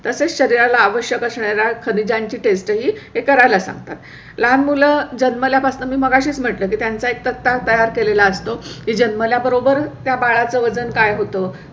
तसेच शरीराला आवश्यक असणारा खनीज्यांची test ही करायला सांगतात. लहान मुलं जन्मल्या पासून मी मगाशीच म्हटलं की त्यांचा एक तक्ता तयार केलेला असतो. जन्मल्याबरोबर त्या बाळा चं वजन काय होतं?